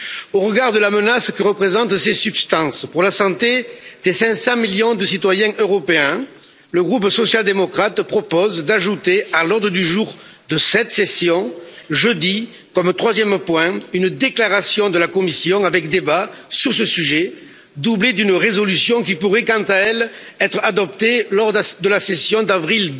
Au regard de la menace que représentent ces substances pour la santé des 500 millions de citoyens européens, le groupe social démocrate propose d'ajouter à l'ordre du jour de jeudi de cette période de session, comme troisième point, une déclaration de la Commission avec débat sur ce sujet, doublée d'une résolution qui pourrait quant à elle être adoptée lors de la session d'avril